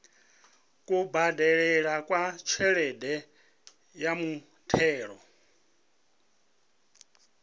kubadelele kwa tshelede ya muthelo